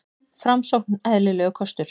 Framsókn eðlilegur kostur